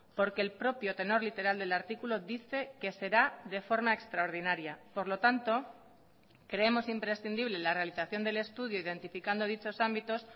porque el propio tenor literal del artículo dice que será de forma extraordinaria por lo tanto creemos imprescindible la realización del estudio identificando dichos ámbitos